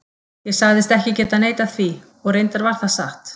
Ég sagðist ekki geta neitað því, og reyndar var það satt.